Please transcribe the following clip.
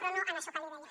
però no en això que li deia